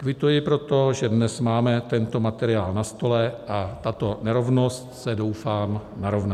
Kvituji proto, že dnes máme tento materiál na stole a tato nerovnost se, doufám, narovná.